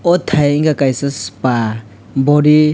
aw tai unke kaisa spa body.